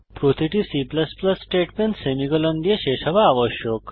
প্রতিটি C statement semicolon দিয়ে শেষ হওয়া আবশ্যক